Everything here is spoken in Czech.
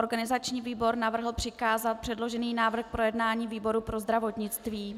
Organizační výbor navrhl přikázat předložený návrh k projednání výboru pro zdravotnictví.